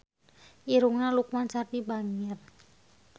Irungna Lukman Sardi bangir